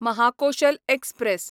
Mahakoshal express